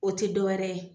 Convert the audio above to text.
O tɛ dɔwɛrɛ ye